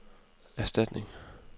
erstatning